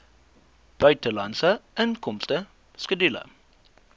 buitelandse inkomste skedule